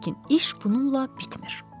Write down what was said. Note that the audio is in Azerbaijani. Lakin iş bununla bitmir.